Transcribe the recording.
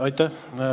Aitäh!